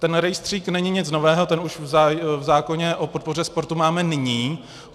Ten rejstřík není nic nového, ten už v zákoně o podpoře sportu máme nyní.